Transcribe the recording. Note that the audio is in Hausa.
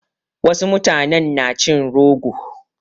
Wasu mutanen na cin rogo.